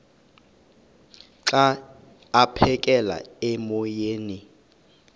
xa aphekela emoyeni